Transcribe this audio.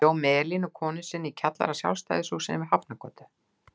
Hann bjó með Elínu konu sinni í kjallara Sjálfstæðishússins við Hafnargötu.